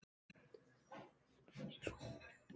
Kannski var hún bara syfjuð.